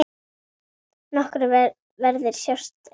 Nokkrir verðir sjást einnig.